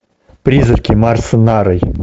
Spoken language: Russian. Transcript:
призраки марса нарой